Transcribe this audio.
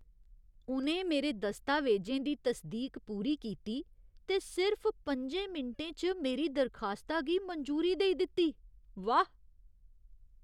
उ'नें मेरे दस्तावेजें दी तसदीक पूरी कीती ते सिर्फ पंजें मिंटें च मेरी दरखास्ता गी मंजूरी देई दित्ती, वाह् !